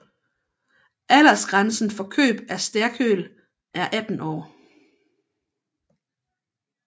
Aldersgrænsen for køb af sterkøl er 18 år